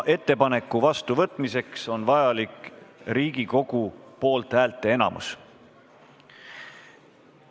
Ettepaneku vastuvõtmiseks on vajalik Riigikogu poolthäälte enamus.